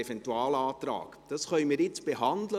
Dies können wir jetzt behandeln.